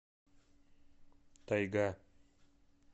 тайга